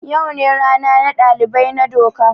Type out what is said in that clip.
Yau ne rana na dalibai na doka.